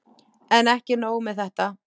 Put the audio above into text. En ekki nóg með þetta.